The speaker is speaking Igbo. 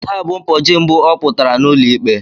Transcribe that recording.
Taa bụ ụbọchị mbụ ọ pụtara n'ụlọikpe.